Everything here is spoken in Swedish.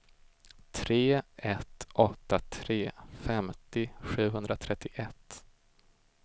tre ett åtta tre femtio sjuhundratrettioett